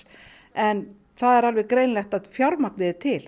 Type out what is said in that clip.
en það er greinilegt að fjármagnið er til